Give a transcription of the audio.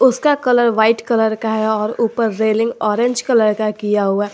इसका colour white colour का है और ऊपर रेलिंग ऑरेंज कलर का किया हुआ--